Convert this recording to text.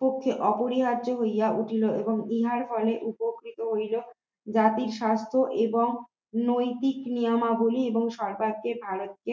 পক্ষে অপরিহার্য হইয়া উঠিল এবং ইহার ফলে উপকৃত হইল জাতির স্বাস্থ্য এবং নৈতিক নিয়মাবলী এবং সরকারকে ভারতে